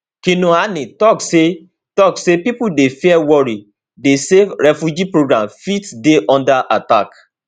kinuani tok say tok say pipo dey fear worry dey say refugee programmes fit dey under attack